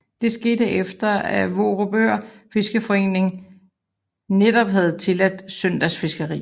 Det skete efter at Vorupør Fiskeriforening netop havde tilladt søndagsfiskeri